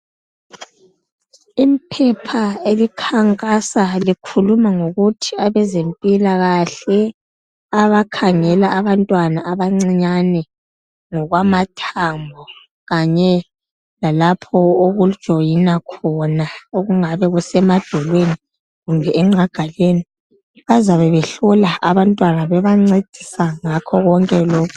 Iphepha elikhankasa likhuluma ngokuthi abezempilakahle abakhangela abantwana abancinyane ngokwamathambo kanye lalapho okujoyina khona kungabe kusemadolweni kumbe enqagaleni bazabe behlola abantwana bebancedisa ngakho lokho.